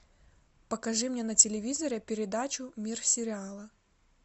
покажи мне на телевизоре передачу мир сериала